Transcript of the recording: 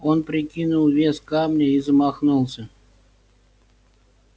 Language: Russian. он прикинул вес камня и замахнулся